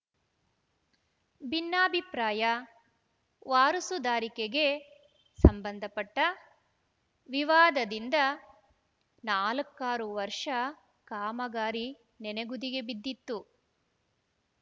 ಭಿನ್ನಾಭಿಪ್ರಾಯ ವಾರಸುದಾರಿಕೆಗೆ ಸಂಬಂಧಪಟ್ಟ ವಿವಾದದಿಂದ ನಾಲ್ಕಾರು ವರ್ಷ ಕಾಮಗಾರಿ ನೆನೆಗುದಿಗೆ ಬಿದ್ದಿತ್ತು